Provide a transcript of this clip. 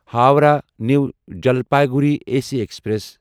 Howrah new Jalpaiguri A C express